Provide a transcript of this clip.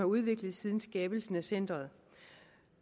udviklet siden skabelsen af centret